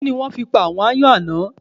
Kí ni wọ́n fi pa àwọn aáyán àná?